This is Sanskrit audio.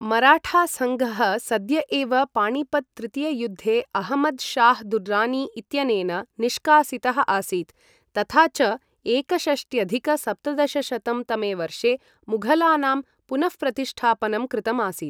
मराठासङ्घः सद्य एव पाणिपत् तृतीययुद्धे अहमद् शाह् दुर्रानी इत्यनेन निष्कासितः आसीत्, तथा च एकषष्ट्यधिक सप्तदशशतं तमे वर्षे मुघलानां पुनःप्रतिष्ठापनं कृतम् आसीत्।